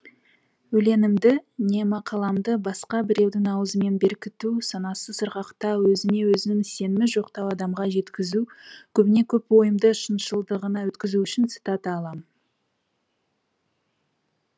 өлеңімді не мақаламды басқа біреудің аузымен беркіту санасы сырғақтау өзіне өзінің сенімі жоқтау адамға жеткізу көбіне көп ойымды шыншылдығына өткізу үшін цитата алам